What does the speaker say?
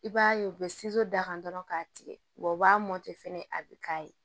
I b'a ye u bɛ d'a kan dɔrɔn k'a tigɛ u b'a mɔtɛ fɛnɛ a bɛ k'a ye